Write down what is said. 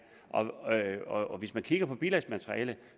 hvis man kigger på bilagsmaterialet